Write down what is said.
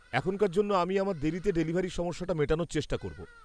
এখনকার জন্য আমি আমার দেরীতে ডেলিভারির সমস্যাটা মেটানোর চেষ্টা করব।